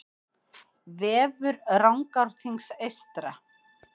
Vefur Rangárþings eystra